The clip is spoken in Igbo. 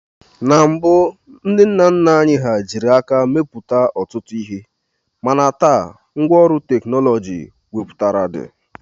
Na mbụ ndị nna nna anyị hà jiri aka mepụta ọtụtụ ihe mana taa, ngwa ọrụ nke teknọlọjị wepụtara dị